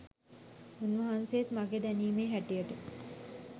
උන් වහන්සේත් මගේ දැනීමේ හැටියට